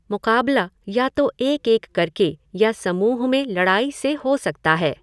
मुक़ाबला या तो एक एक करके या समूह में लड़ाई से हो सकता है।